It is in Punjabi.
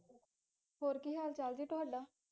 ਹੋਰ ਕਿ ਹਾਲ ਚਾਲ ਜੀ ਤੁਹਾਡਾ